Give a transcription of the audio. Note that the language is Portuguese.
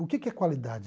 O que que é qualidade?